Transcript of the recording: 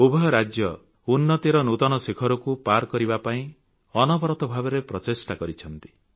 ଉଭୟ ରାଜ୍ୟ ଉନ୍ନତିର ନୂତନ ଶିଖରକୁ ପାର କରିବା ପାଇଁ ଅନବରତ ଭାବରେ ପ୍ରଚେଷ୍ଟା କରିଛନ୍ତି